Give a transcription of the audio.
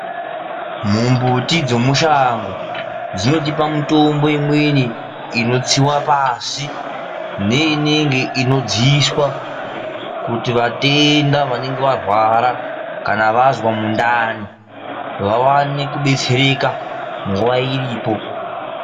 Mumbiti dzomushango dzinotipa mitombo imweni inotsiwa pasi neinenge inodziiswa kuti vatenda vanenge varwara kana vazwa mundani vawane kudetsereka nguva iripo.